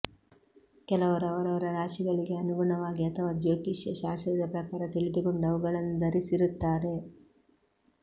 ಕೆಲವರು ಅವರವರ ರಾಶಿಗಳಿಗೆ ಅನುಗುಣವಾಗಿ ಅಥವಾ ಜ್ಯೋತಿಷ್ಯ ಶಾಸ್ತ್ರದ ಪ್ರಕಾರ ತಿಳಿದುಕೊಂಡು ಅವುಗಳನ್ನು ಧರಿಸಿರುತ್ತಾರೆ